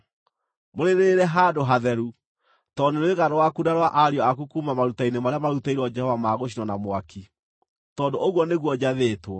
Mũrĩrĩĩre handũ hatheru, tondũ nĩ rwĩga rwaku na rwa ariũ aku kuuma maruta-inĩ marĩa marutĩirwo Jehova ma gũcinwo na mwaki; tondũ ũguo nĩguo njathĩtwo.